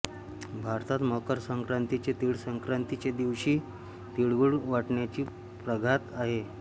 भारतात मकर संक्रांतीचे तिळसंक्रांती चे दिवशी तिळगुळ वाटण्याचा प्रघात आहे